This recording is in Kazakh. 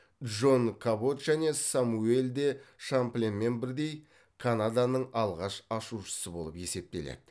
джон кабот және самюэль де шампленмен бірдей канаданың алғаш ашушысы болып есептеледі